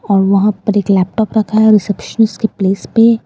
और वहां पर एक लॅपटॉप रखा हैं रिसेप्शनिस्ट की प्लेस पे --